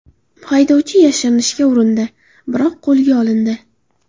Haydovchi yashirinishga urindi, biroq qo‘lga olindi.